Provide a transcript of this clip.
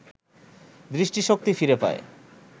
দৃষ্টিশক্তি ফিরে পায়